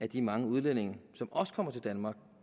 de mange udlændinge som også kommer til danmark